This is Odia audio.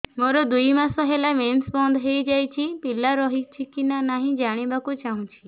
ମୋର ଦୁଇ ମାସ ହେଲା ମେନ୍ସ ବନ୍ଦ ହେଇ ଯାଇଛି ପିଲା ରହିଛି କି ନାହିଁ ଜାଣିବା କୁ ଚାହୁଁଛି